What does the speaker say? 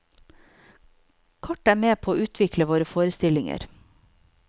Kart er med på å utvikle våre forestillinger.